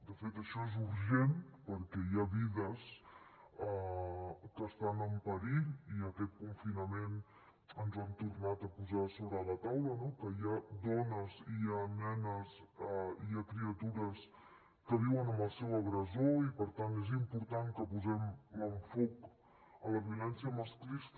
de fet això és urgent perquè hi ha vides que estan en perill i aquest confinament ens ha tornat a posar sobre la taula no que hi ha dones hi ha nenes hi ha criatures que viuen amb el seu agressor i per tant és important que posem l’enfocament a la violència masclista